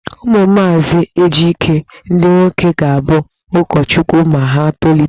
Ụmụ maazị Ejike ndị nwoke ga-abụ ụkọchukwu ma ha tolite.